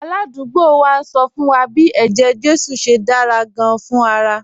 Aládùúgbò wa ń sọ fún wa bí eje-jesu ṣe dára gan-an fún ara